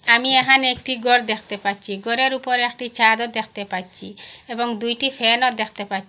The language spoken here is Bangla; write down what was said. আমি এহানে একটি গর দ্যাখতে পাচ্চি গরের উপরে একটি ছাদও দ্যাখতে পাচ্চি এবং দুইটি ফ্যান ও দ্যাখতে পা--